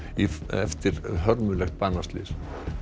eftir hörmulegt banaslys